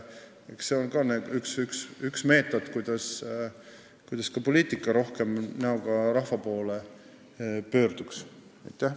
Eks see on ka üks meetod, kuidas poliitikat rohkem näoga rahva poole pöörata.